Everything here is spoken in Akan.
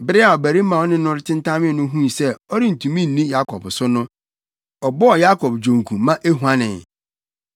Bere a ɔbarima a ɔne no tentamee no huu sɛ ɔrentumi nni Yakob so no, ɔbɔɔ Yakob dwonku ma ehuanee.